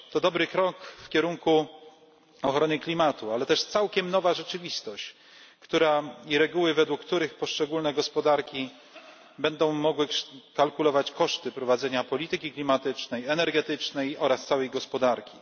To dobry krok w kierunku ochrony klimatu, ale też całkiem nowa rzeczywistość i reguły, według których poszczególne gospodarki będą mogły kalkulować koszty prowadzenia polityki klimatycznej i energetycznej oraz całej gospodarki.